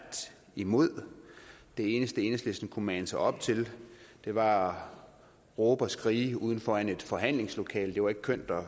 imod det eneste enhedslisten kunne mande sig op til var at råbe og skrige uden for forhandlingslokalet det var ikke kønt at